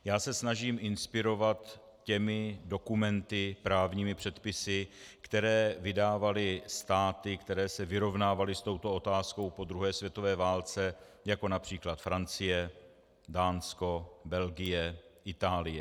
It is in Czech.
Já se snažím inspirovat těmi dokumenty, právními předpisy, které vydávaly státy, které se vyrovnávaly s touto otázkou po druhé světové válce, jako například Francie, Dánsko, Belgie, Itálie.